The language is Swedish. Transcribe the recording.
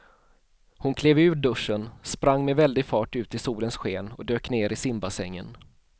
Hon klev ur duschen, sprang med väldig fart ut i solens sken och dök ner i simbassängen.